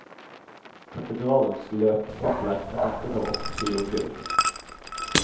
Katedralens løkkupler er dekket av åtte kilo gull.